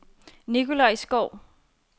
Nikolaj Skou